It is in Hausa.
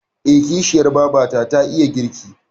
Eh, kishiyar babata ta iya girki.